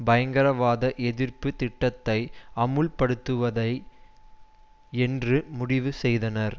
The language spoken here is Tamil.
பயங்கரவாதஎதிர்ப்பு திட்டத்தை அமுல்படுத்துவதை என்று முடிவு செய்தனர்